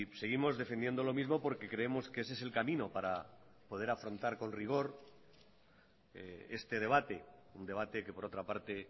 seguimos defendiendo lo mismo porque creemos que ese es el camino para poder afrontar con rigor este debate un debate que por otra parte